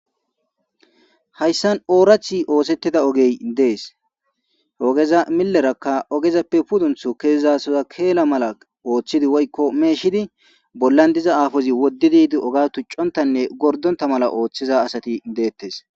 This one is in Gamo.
Hayssan oorathi oosettida ogey dees ogeza millerakka ogezappe pudunthu keezasoza keela mala ooththidi woykko meeshidi bollan diza aafozi woddididi oga tuccontanne gordonta mala ooththiza asati deettes.